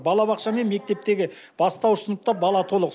балабақша мен мектептегі бастауыш сыныпта бала толық